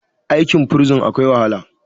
aikin bursin akwai wahala